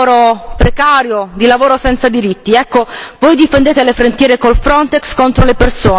Ecco, voi difendete le frontiere con il FRONTEX contro le persone e le abolite solo per creare un mercato unico.